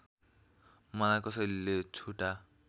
मलाई कसैले झुठा